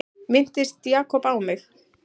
Minntist Jakob á mig?